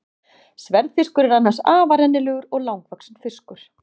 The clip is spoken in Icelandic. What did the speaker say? Sverðfiskur er annars afar rennilegur og langvaxinn fiskur.